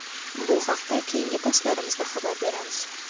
bu haqida keyingi postlarimizda xabar beramiz.